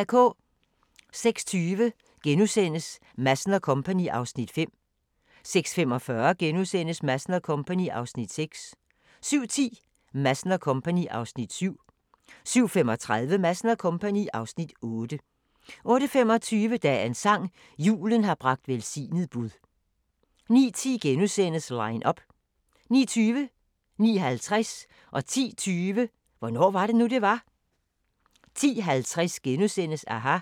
06:20: Madsen & Co. (Afs. 5)* 06:45: Madsen & Co. (Afs. 6)* 07:10: Madsen & Co. (Afs. 7) 07:35: Madsen & Co. (Afs. 8) 08:25: Dagens sang: Julen har bragt velsignet bud 09:10: Line up * 09:20: Hvornår var det nu, det var? 09:50: Hvornår var det nu, det var? 10:20: Hvornår var det nu, det var? 10:50: aHA! *